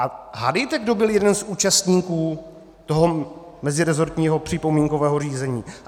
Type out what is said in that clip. A hádejte, kdo byl jeden z účastníků toho meziresortního připomínkového řízení?